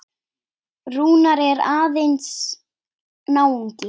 Rúnar er ágætis náungi.